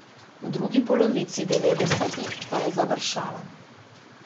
V drugi polovici devetdesetih pa je završalo.